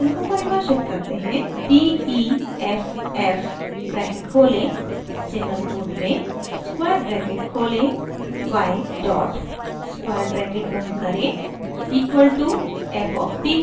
d e f f bracket खोलें single quote में square bracket खोलें y डॉट स्क्वायर ब्रैकेट बंद करें equal to f of t